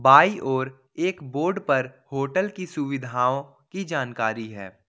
By और एक board पर होटल की सुविधाओं की जानकारी है।